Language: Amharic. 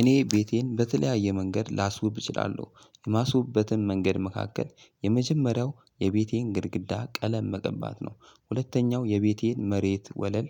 እኔ ቤቴን በተለያየ መንገድ ላስውብ እችላለሁ። የማስውብበትን መንገድ መካከል የመጀመሪያው የቤቴን ግድግዳ ቀለም መቀባት ነው። ሁለተኛው የቤቴን መሬት ወለል